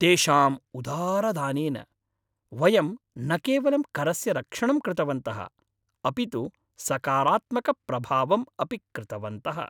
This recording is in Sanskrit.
तेषां उदारदानेन, वयं न केवलं करस्य रक्षणं कृतवन्तः अपितु सकारात्मकप्रभावं अपि कृतवन्तः!